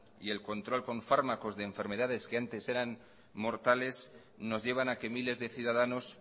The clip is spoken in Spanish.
y el control con fármacos de enfermedades que antes eran mortales nos llevan a que miles de ciudadanos